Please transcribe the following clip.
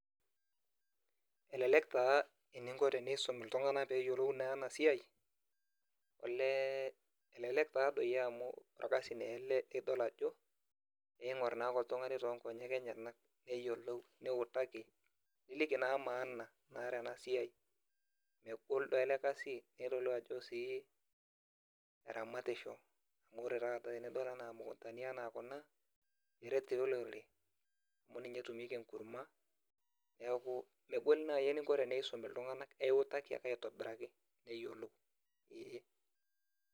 Elelek taa teninko peisum ltunganak peyiolou enasiai olee elelek taa amu orkasai taa ele nidol ajo eingur ake oltungani tonkonyek enyenak niutaki niliki naa maana ele kasi, megol taa elekasieramatisho amu ore taata tenidol imukundani anaa kunaniret tii olorore amu ninye etumieki enkurma, neaku megol nai enintaduaki olorore nisum ltunganak aituakivake aitobiraki neyiolou, eeh.